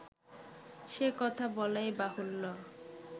সে-কথা বলাই বাহুল্য